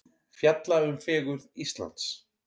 Fjalla um fegurð Íslands